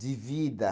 De vida.